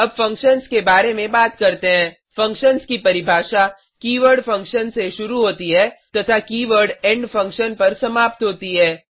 अब फंक्शन्स के बारे में बात करते हैं फंक्शन्स की परिभाषा की वर्ड फंक्शन से शुरू होती है तथा की वर्ड इंड फंक्शन पर समाप्त होती है